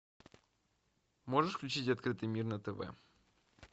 можешь включить открытый мир на тв